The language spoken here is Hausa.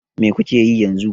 Me kuke yi yanzu?